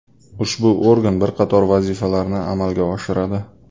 Ushbu organ bir qator vazifalarni amalga oshiradi.